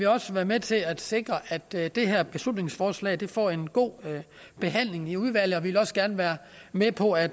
også være med til at sikre at det det her beslutningsforslag får en god behandling i udvalget vi vil også gerne være med på at